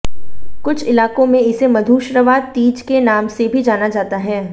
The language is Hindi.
कुछ इलाकों में इसे मधुश्रवा तीज के नाम से भी जाना जाता है